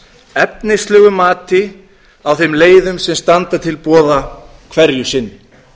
efnislegu mati á þeim leiðum sem standa til boða hverju sinni